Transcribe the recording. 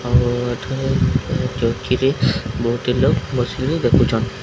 ଆଉ ଏଠାରେ ଚୌକି ରେ ବହୁତ ଲୋକ ବସିକିରି ଦେଖୁଛନ୍ତି।